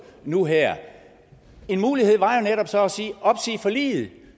nu her en mulighed var jo netop så at opsige forliget